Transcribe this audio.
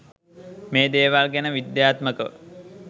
මේ දේවල් ගැන විද්‍යාත්මකව